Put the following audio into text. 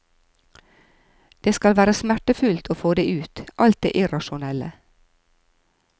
Det skal være smertefullt å få det ut, alt det irrasjonelle.